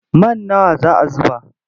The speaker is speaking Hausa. Man nawa za a zuba?